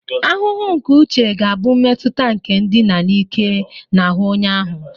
Ahụhụ nke uche ga-abụ mmetụta nke ndina n'ike n'ahụ onye ahụ